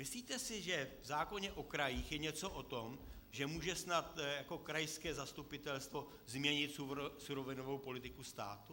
Myslíte si, že v zákoně o krajích je něco o tom, že může snad krajské zastupitelstvo změnit surovinovou politiku státu?